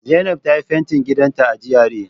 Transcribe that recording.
Zainab ta yi fentin gidanta a GRA